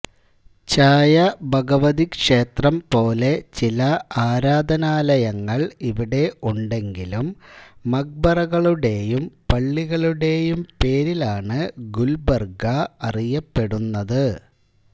ഛായഭഗവതിക്ഷേത്രം പോലെ ചില ആരാധനാലയങ്ങൾ ഇവിടെ ഉണ്ടെങ്കിലും മഖ്ബറകളുടേയും പള്ളികളുടേയും പേരിലാണ് ഗുൽബർഗ അറിയപ്പെടുന്നത്